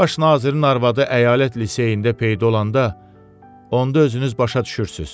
Baş nazirin arvadı əyalət liseyində peyda olanda onda özünüz başa düşürsüz.